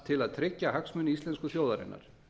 til að tryggja hagsmuni íslensku þjóðarinnar